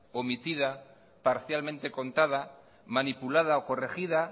omitida parcialmente contada manipulada o corregida